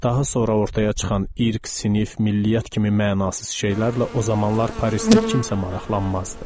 Daha sonra ortaya çıxan irq, sinif, milliyyət kimi mənasız şeylərlə o zamanlar Parisdə kimsə maraqlanmazdı.